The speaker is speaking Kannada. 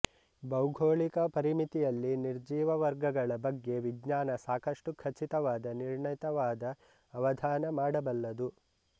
ಭೌಗೋಳಿಕ ಪರಿಮಿತಿಯಲ್ಲಿ ನಿರ್ಜೀವ ವರ್ಗಗಳ ಬಗ್ಗೆ ವಿಜ್ಞಾನ ಸಾಕಷ್ಟು ಖಚಿತವಾದ ನಿರ್ಣೀತವಾದ ಅವಧಾನ ಮಾಡಬಲ್ಲದು